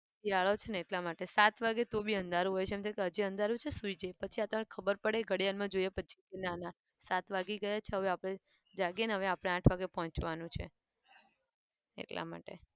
શિયાળો છે ને એટલા માટે સાત વાગે તો બી અધારું હોય છે. એમ થાય કે હજી અંધારું છે સુઈ જઈએ પછી આ તો ખબર પડે ઘડિયાળમાં જોઈએ પછી ના ના સાત વાગી ગયા છે હવે આપણે જાગીએ ને હવે આપણે આઠ વાગે પોહંચવાનું છે. એટલા માટે.